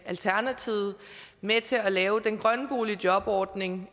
alternativet med til at lave den grønne boligjobordning